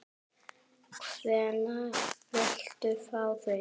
Hvenær viltu fá þau?